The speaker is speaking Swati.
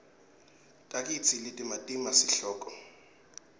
tikatsi letimatima sihloko